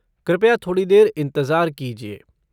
कृपया थोड़ी देर इंतज़ार कीजिए।